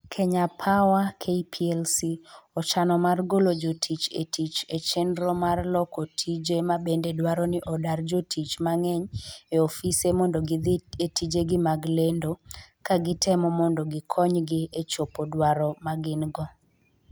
Kenya Power (KPLC) ochano mar golo jotich e tich e chenro mar loko tije ma bende dwaro ni odar jotich mang'eny e ofise mondo gidhi e tijegi mag lendo ka gitemo mondo gikonygi e chopo dwaro ma gin - go.